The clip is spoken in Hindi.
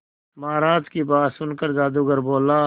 महाराज की बात सुनकर जादूगर बोला